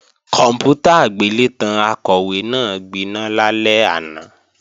Kòǹpútà agbélétan Akọ̀wé náà gbiná lálẹ́ àná